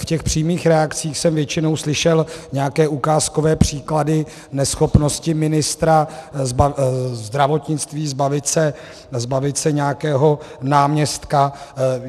V těch přímých reakcích jsem většinou slyšel nějaké ukázkové příklady neschopnosti ministra zdravotnictví zbavit se nějakého náměstka.